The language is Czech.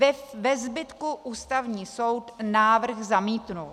Ve zbytku Ústavní soud návrh zamítl.